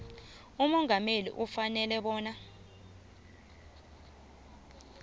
umongameli ufanele bona